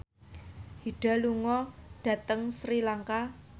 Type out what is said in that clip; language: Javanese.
Hyde lunga dhateng Sri Lanka